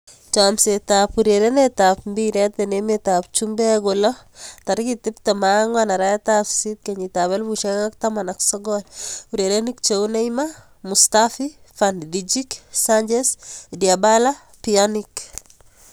Chomset ab urerenet ab mbiret eng emet ab chumbek kolo 24.08.2019: Neymar, Mustafi, Van Dijk, Sanchez, Dybala, Pjanic